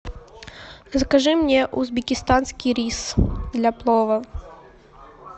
закажи мне узбекистанский рис для плова